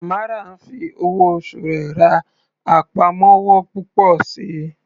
Tamara ń fi owó oṣù rẹ̀ ra àpamọ́wọ́ púpọ̀ síi.